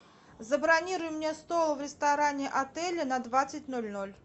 забронируй мне стол в ресторане отеля на двадцать ноль ноль